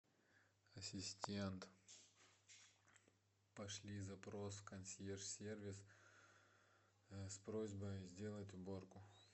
ассистент пошли запрос в консьерж сервис с просьбой сделать уборку